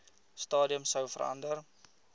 stadium sou verander